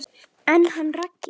En hann Raggi?